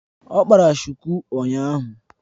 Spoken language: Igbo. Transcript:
Ọ kpara shuku ụnyahụ